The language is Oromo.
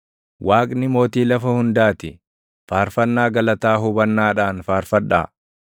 Waaqni Mootii lafa hundaa ti; faarfannaa galataa hubannaadhaan faarfadhaa.